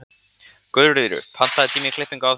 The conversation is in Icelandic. Guðríður, pantaðu tíma í klippingu á þriðjudaginn.